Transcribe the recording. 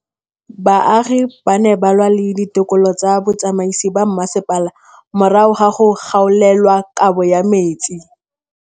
Baagi ba ne ba lwa le ditokolo tsa botsamaisi ba mmasepala morago ga go gaolelwa kabo metsi